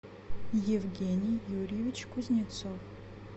евгений юрьевич кузнецов